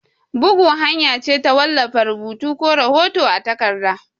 Bugu hanya ce ta wallafa rubutu ko hoto a takarda.